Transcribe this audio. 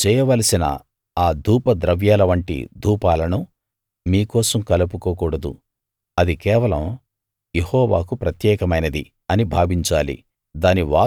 నీవు చేయవలసిన ఆ ధూప ద్రవ్యాల వంటి ధూపాలను మీ కోసం కలుపుకోకూడదు అది కేవలం యెహోవాకు ప్రత్యేకమైనది అని భావించాలి